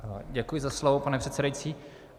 Děkuji za slovo, pane předsedající.